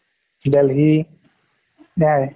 delhi নাই